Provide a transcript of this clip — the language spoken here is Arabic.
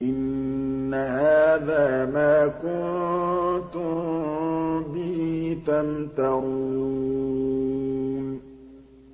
إِنَّ هَٰذَا مَا كُنتُم بِهِ تَمْتَرُونَ